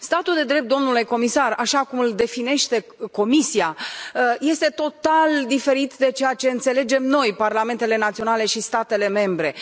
Statul de drept, domnule comisar, așa cum îl definește Comisia, este total diferit de ceea ce înțelegem noi, parlamentele naționale și statele membre.